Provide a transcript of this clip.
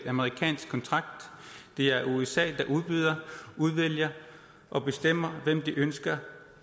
amerikansk kontrakt det er usa der udbyder udvælger og bestemmer hvem de ønsker